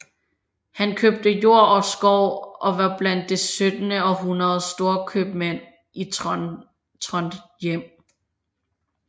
Han købte jord og skov og var blandt det syttende århundredes storkøbmænd i Trondhjem